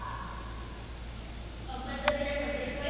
compulsory ના subject હોય